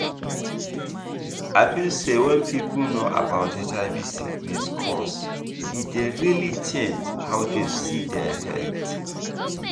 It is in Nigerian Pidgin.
i feel say wen people know about hiv sickness cause e dey really change how dem see dia health